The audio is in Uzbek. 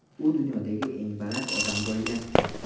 U dunyodagi eng baland odam bo‘lgan.